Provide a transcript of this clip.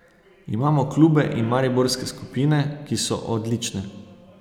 Imamo klube in mariborske skupine, ki so odlične.